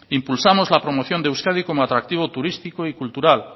impulsamos la promoción de euskadi como atractivo turístico y cultural